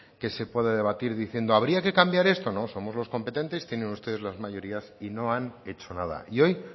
que se puede debatir diciendo habría que cambiar esto no somos los competentes tienen ustedes las mayorías y no han hecho nada y hoy